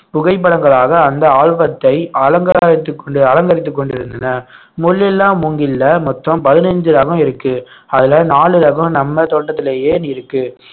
புகைப்படங்களாக அந்த ஆல்பத்தை அலங்காரித்துக் கொண்டு அலங்கரித்துக் கொண்டிருந்தன முள் இல்லா மூங்கில்ல மொத்தம் பதினஞ்சு ரகம் இருக்கு அதுல நாலு ரகம் நம்ம தோட்டத்திலேயே இருக்கு